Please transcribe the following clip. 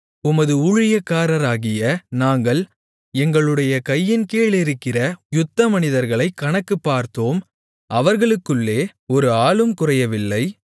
உமது ஊழியக்காரராகிய நாங்கள் எங்களுடைய கையின் கீழிருக்கிற யுத்தமனிதர்களை கணக்கு பார்த்தோம் அவர்களுக்குள்ளே ஒரு ஆளும் குறையவில்லை